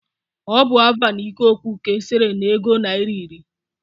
Ọ bụ Avan ikoku ka e sere n'ego naira iri